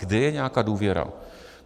Kde je nějaká důvěra?